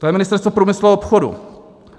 To je Ministerstvo průmyslu a obchodu.